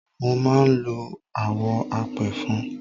Mo máa ń lo àwọ̀ apẹ̀fọn.